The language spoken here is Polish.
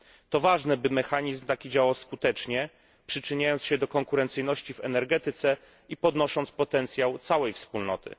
To ważne, by taki mechanizm działał skutecznie, przyczyniając się do konkurencyjności w energetyce i zwiększając potencjał całej Wspólnoty.